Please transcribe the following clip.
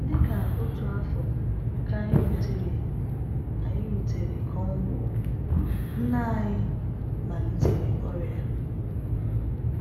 Dị ka otu afọ ka anyị rutere anyị rutere Cornwall, nne anyị malitere ọrịa.